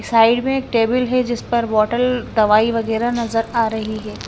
Side में एक table है जिस पर बोतल दवाई वगैरह नजर आ रही है।